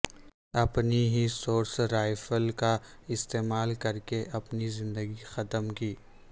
اپنی ہی service rifle کا استعمال کرکے اپنی زندگی ختم کی